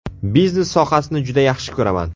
Biznes sohasini juda yaxshi ko‘raman.